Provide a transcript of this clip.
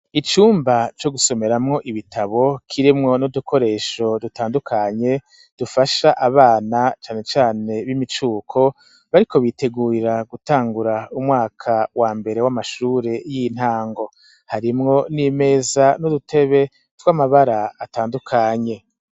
Icumba co gusomeramwo ibitabo kirimwo n'udukoresho dutandukanye, dufasha abana cane cane b'imicuko bariko bitegurira gutangura umwaka wa mbere w'amashure y'intango, harimwo n'imeza n'udutebe tw'amabara atandukanye.